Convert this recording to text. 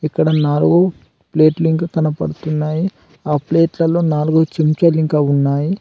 ఇక్కడ నాలుగు ప్లేట్లు ఇంకా కనబడుతున్నాయి ఆ ప్లేట్లలో నాలుగు చెంచలు ఇంకా ఉన్నాయి.